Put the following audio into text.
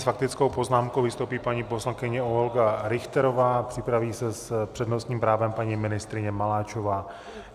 S faktickou poznámkou vystoupí paní poslankyně Olga Richterová, připraví se s přednostním právem paní ministryně Maláčová.